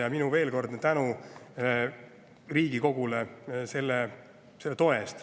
Ja minu veelkordne tänu Riigikogule selle toe eest.